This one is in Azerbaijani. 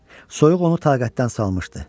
Soyuq onu taqətdən salmışdı.